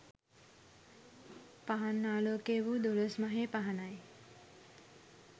පහන් ආලෝකය වූ දොළොස්මහේ පහනයි.